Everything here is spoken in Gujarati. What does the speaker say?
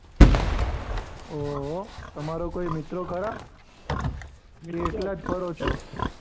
ઓહો તમારો કોઈ મિત્ર ખરા? કે એકલા જ ફરો છો?